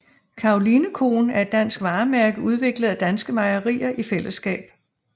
Karolinekoen er et dansk varemærke udviklet af danske mejerier i fællesskab